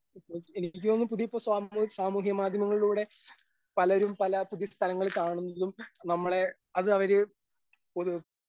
ഏ എനിക്ക് തോന്നുന്നു പുതിയ ഇപ്പൊ സാമൂ സാമൂഹ്യ മാധ്യമങ്ങളിലൂടെ പലരും പല പുതിയ സ്ഥലങ്ങൾ കാണുന്നതും നമ്മളെ അതവര് .